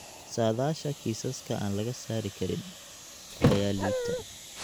Saadaasha kiisaska aan laga saari karin (burooyinka aan la soo saari karin) ayaa liita.